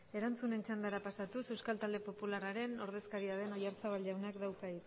erantzunen txandara pasatuz euskal talde popularraren ordezkaria den oyarzabal jaunak dauka